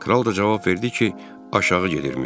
Kral da cavab verdi ki, aşağı gedirmiş.